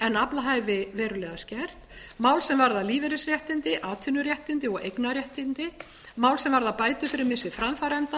en aflahæfi verulega skert mál sem varða lífeyrisréttindi atvinnuréttindi og eignarréttindi mál sem varða bætur fyrir missi framfæranda mál